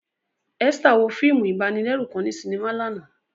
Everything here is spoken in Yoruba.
Esther wo fiimu ibanilẹru kan ni sinima làná.